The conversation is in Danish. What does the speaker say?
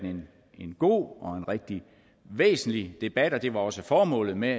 en god og en rigtig væsentlig debat og det var også formålet med